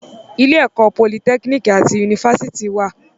Ilé-ẹ̀kọ́ Politẹ́kínìkì àti Yunifásítì wà.